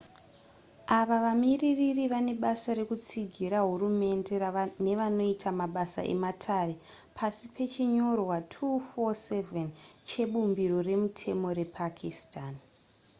ava vamiririri vane basa rekutsigira hurumende nevanoita mabasa ematare pasi pechinyorwa 247 chebumbiro remutemo repakistan